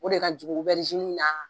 O de ka jugu na